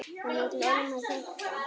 Hann vill ólmur hjálpa.